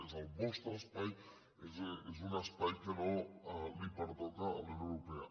és el vostre espai és un espai que no pertoca a la unió europea